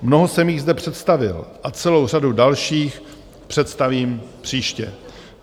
Mnoho jsem jich zde představil a celou řadu dalších představím příště.